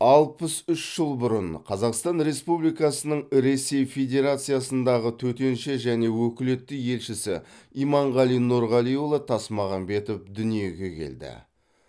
алпыс үш жыл бұрын қазақстан республикасының ресей федерациясындағы төтенше және өкілетті елшісі иманғали нұрғалиұлы тасмағамбетов дүниеге келді